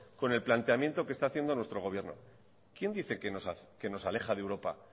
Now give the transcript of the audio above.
con el planteamiento que está haciendo nuestro gobierno quién dice que nos aleja de europa